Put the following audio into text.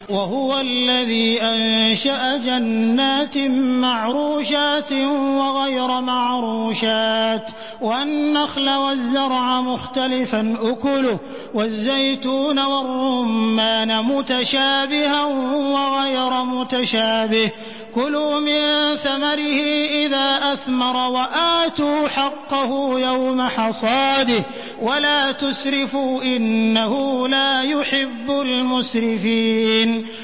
۞ وَهُوَ الَّذِي أَنشَأَ جَنَّاتٍ مَّعْرُوشَاتٍ وَغَيْرَ مَعْرُوشَاتٍ وَالنَّخْلَ وَالزَّرْعَ مُخْتَلِفًا أُكُلُهُ وَالزَّيْتُونَ وَالرُّمَّانَ مُتَشَابِهًا وَغَيْرَ مُتَشَابِهٍ ۚ كُلُوا مِن ثَمَرِهِ إِذَا أَثْمَرَ وَآتُوا حَقَّهُ يَوْمَ حَصَادِهِ ۖ وَلَا تُسْرِفُوا ۚ إِنَّهُ لَا يُحِبُّ الْمُسْرِفِينَ